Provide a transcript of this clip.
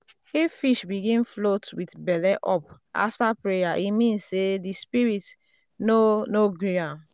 if fish begin float with um belle up after prayer e mean say the spirit um no no gree.